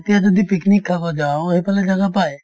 এতিয়া যদি picnic খাব যাওঁ সেইফালে জাগা পায়